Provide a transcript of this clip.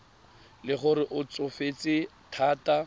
le gore o tsofetse thata